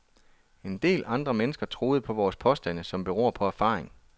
En del andre mennesker troede på vores påstande, som beror på erfaring.